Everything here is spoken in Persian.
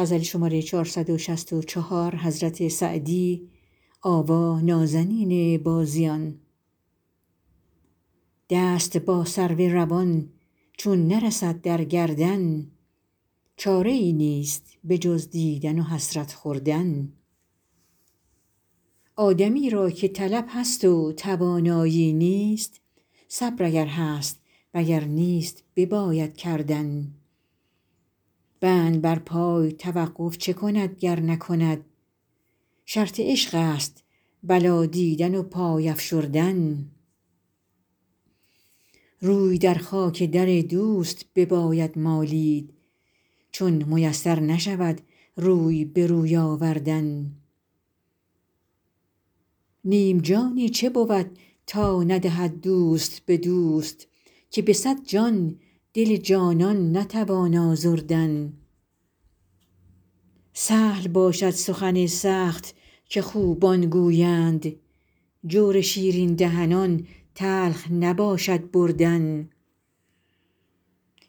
دست با سرو روان چون نرسد در گردن چاره ای نیست به جز دیدن و حسرت خوردن آدمی را که طلب هست و توانایی نیست صبر اگر هست و گر نیست بباید کردن بند بر پای توقف چه کند گر نکند شرط عشق است بلا دیدن و پای افشردن روی در خاک در دوست بباید مالید چون میسر نشود روی به روی آوردن نیم جانی چه بود تا ندهد دوست به دوست که به صد جان دل جانان نتوان آزردن سهل باشد سخن سخت که خوبان گویند جور شیرین دهنان تلخ نباشد بردن